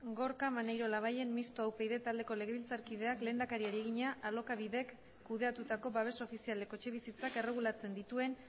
gorka maneiro labayen mistoa upyd taldeko legebiltzarkideak lehendakariari egina alokabidek kudeatutako babes ofizialeko etxebizitzak erregulatzen dituen